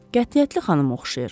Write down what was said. Qətiyyətli xanıma oxşayır.